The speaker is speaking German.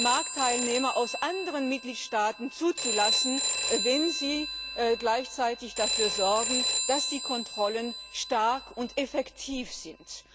Marktteilnehmer aus anderen Mitgliedstaaten zuzulassen, wenn sie gleichzeitig dafür sorgen, dass die Kontrollen stark und effektiv sind.